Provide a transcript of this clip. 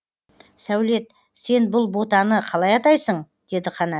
сәулет сен бұл ботаны қалай атайсың деді қанат